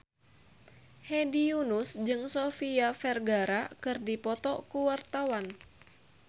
Hedi Yunus jeung Sofia Vergara keur dipoto ku wartawan